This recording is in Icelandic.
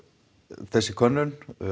þessi könnun